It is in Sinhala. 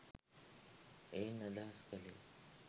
එයින් අදහස් කළේ